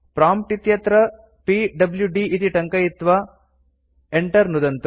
prompt इत्यत्र PWD इति टङ्कयित्वा enter नुदन्तु